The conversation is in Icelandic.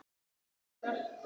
Lena sem kallar.